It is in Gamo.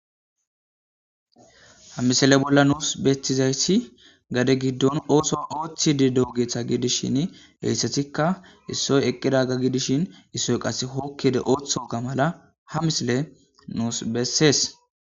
ha misale bolla nuus betthizayssi gade giddon ooso ooththi di doogetha gidishin hehissetikka issoy eqqida ga gidishin issoy qas hookkiede ooththoka mala ha misile nuus bessees